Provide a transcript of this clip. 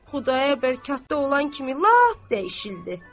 Xudayar bəy katda olan kimi lap dəyişildi.